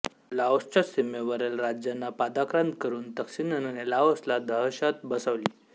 लाओसच्या सीमेवरील राज्यांना पादाक्रांत करुन तक्सिनने लाओसला दहशत बसवली